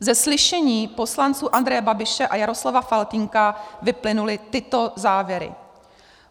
Ze slyšení poslanců Andreje Babiše a Jaroslava Faltýnka vyplynuly tyto závěry: